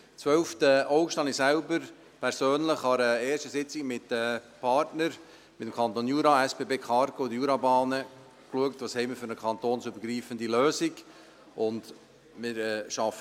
Am 12. August schaute ich persönlich an einer ersten Sitzung mit den Partnern – dem Kanton Jura, den SBB Cargo und den Jurabahnen –, welche kantonsübergreifende Lösung wir haben.